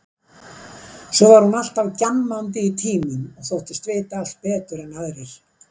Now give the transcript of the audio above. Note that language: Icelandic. Svo var hún alltaf gjammandi í tímum og þóttist vita allt betur en aðrir.